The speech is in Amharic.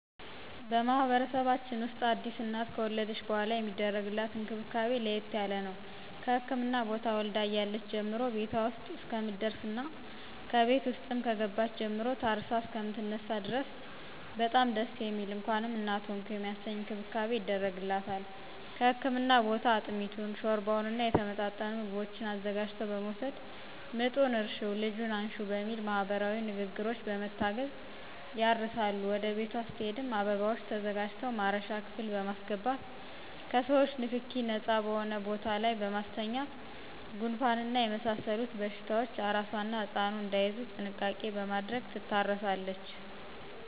በማህበረሰባችን ውስጥ አዲስ እናት ከወለደች በሗላ የሚደረግላት እንክብካቤ ለየት ያለ ነው። ከህክምና ቦታ ወልዳ እያለች ጀምሮ ቤቷ ውስጥ እስከምትደርስና ከቤት ውስጥም ከገባች ጀምሮ ታርሳ እሰከምትነሳ ድረስ በጣም ደስ የሚል እንኳንም እናት ሆንሁ የሚያሰኝ እንክብካቤ ይደረግላታል ከህክምና ቦታ አጥሚቱን: ሾርባውና የተመጣጠኑ ምግቦችን አዘጋጅቶ በመወሰድ ምጡን እርሽው ልጁን አንሽው በሚል ማህበረሰባዊ ንግግሮች በመታገዝ ያርሳሉ ወደ ቤቷ ስትሄድም አበባዎች ተዘጋጅተው ማረሻ ክፍል በማሰገባት ከሰዎቾ ንክኪ ነጻ በሆነ ቦታ ላይ በማስተኛት ጉንፋንና የመሳሰሉት በሽታዎች አራሷና ህጻኑ እዳይያዙ ጥንቃቄ በማድረግ ትታረሳለች።